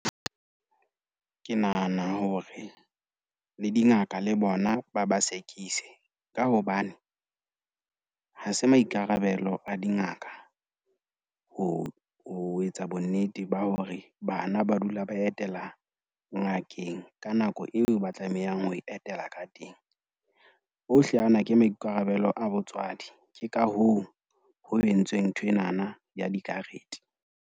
Ke nahana hore le dingaka le bona ba ba segise, ka hobane ha se maikarabelo a dingaka ho ho etsa bonnete ba hore hore bana ba dula ba etela ngakeng ka nako eo ba tlamehang ho etela ka teng. Ohle ana ke maikarabelo a botswadi. Ke ka hoo ho entsweng nthwenana ya dikarete.